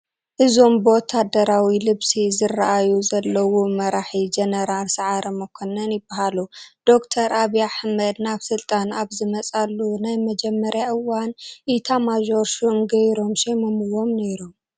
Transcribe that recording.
እዞም ብወታደራዊ ልብሲ ዝርአዩ ዘለዉ መራሒ ጀነራል ሰዓረ መኰነን ይበሃሉ፡፡ ዶክተር ዓብዪ ኣሕመድ ናብ ስልጣን ኣብ ዝመፁሉ ናይ መጀመርያ እዋን ኢታማዦር ሹም ገይሮም ሾይሞምዎም ነይሮም፡፡